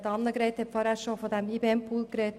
Annegret Hebeisen hat bereits den IBEM-Pool erwähnt.